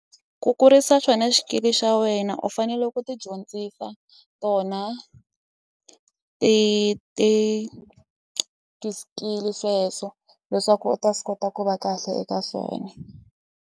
Ku kurisa xona xikili xa wena u fanele ku ti dyondzisa tona ti ti ti skill sweswo leswaku u ta swi kota ku va kahle eka swona.